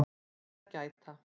TIL AÐ GÆTA